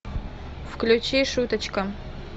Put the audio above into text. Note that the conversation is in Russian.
включи шуточка